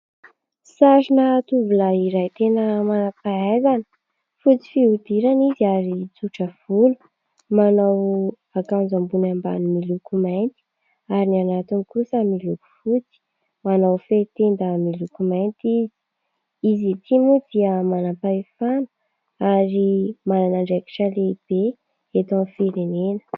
Sarina tovolahy iray tena manam-pahaizana. Fotsy fihodirana izy ary tsotra volo, manao akanjo ambony ambany miloko mainty ary ny anatiny kosa miloko fotsy, manao fehitenda miloko mainty izy. Izy ity moa dia manam-pahefana ary manana andraikitra lehibe eto amin'ny firenena.